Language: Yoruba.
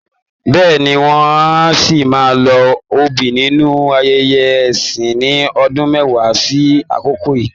Bẹ́ẹ̀ni, wọ́n á ṣì máa lo obì nínú ayẹyẹ ẹ̀sìn ní ọdún mẹ́wàá sí àkokò yíì?.